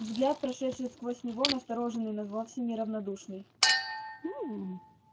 взгляд прошедший сквозь него настороженный но вовсе не равнодушный